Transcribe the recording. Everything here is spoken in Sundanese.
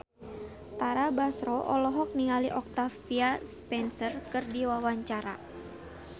Tara Basro olohok ningali Octavia Spencer keur diwawancara